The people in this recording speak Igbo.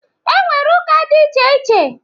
E nwere ụka dị iche iche.